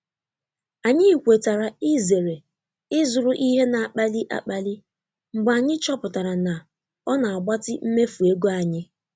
Anyị kwetara izere ịzụrụ ihe na-akpali akpali mgbe anyị chọpụtara na ọ na-agbatị mmefu ego anyị.